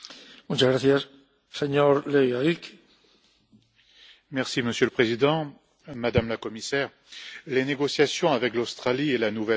Monsieur le Président, Madame la Commissaire, les négociations avec l'Australie et la Nouvelle Zélande ne sont pas, comme vous le dites, un partenariat.